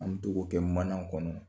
An togo kɛ mana kɔnɔ